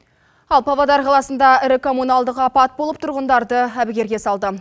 ал павлодар қаласында ірі коммунальдық апат болып тұрғындарды әбігерге салды